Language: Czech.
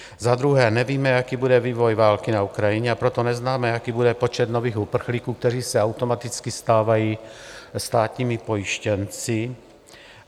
Za druhé nevíme, jaký bude vývoj války na Ukrajině, a proto neznáme, jaký bude počet nových uprchlíků, kteří se automaticky stávají státními pojištěnci.